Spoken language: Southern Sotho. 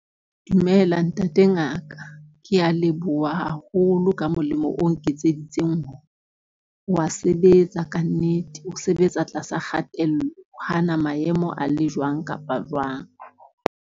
Dumela ntate ngaka. Ke a leboha haholo ka molemo, o nketseditseng wa sebetsa kannete. O sebetsa tlasa kgatello o hana maemo a le jwang kapa jwang.